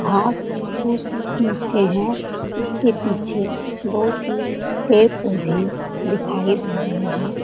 घास-फूस बिछे है। उसके पीछे दो-तीन पेड़-पौधे दिखाई दे रहे है।